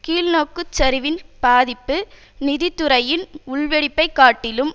கீழ்நோக்கு சரிவின் பாதிப்பு நிதி துறையின் உள்வெடிப்பை காட்டிலும்